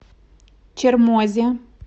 чермозе